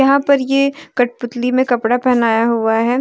यहां पर ये कठपुतली मे कपड़ा पहनाया हुआ है।